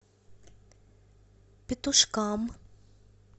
петушкам